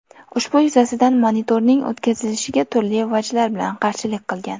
Ushbu yuzasidan monitoring o‘tkazilishiga turli vajlar bilan qarshilik qilgan.